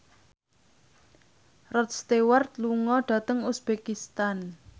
Rod Stewart lunga dhateng uzbekistan